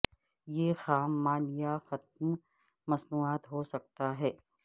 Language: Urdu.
یہ خام مال یا ختم مصنوعات ہو سکتا ہے